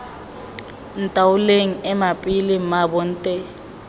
ntaoleng ema pele mmaabo nte